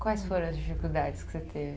Quais foram as dificuldades que você teve?